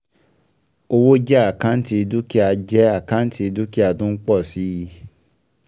Owó jẹ́ àkáǹtì dúkìá jẹ́ àkáǹtì dúkìá tó ń pọ̀ si